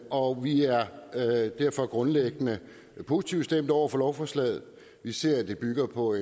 og vi er derfor grundlæggende positivt stemt over for lovforslaget vi ser at det bygger på